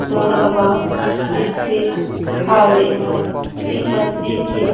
दुर्ग म स्थित हावे ए मंदिर के--